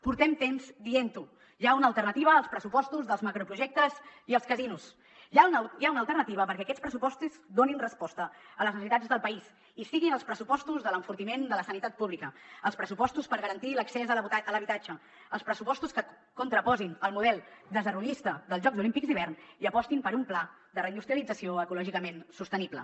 portem temps dient ho hi ha una alternativa als pressupostos dels macroprojectes i els casinos hi ha una alternativa perquè aquests pressupostos donin resposta a les necessitats del país i siguin els pressupostos de l’enfortiment de la sanitat pública els pressupostos per garantir l’accés a l’habitatge els pressupostos que contraposen el model desarrollista dels jocs olímpics d’hivern i apostin per un pla de reindustrialització ecològicament sostenible